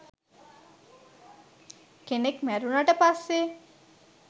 කෙනෙක් මැරුණට පස්සේ